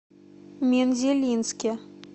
мензелинске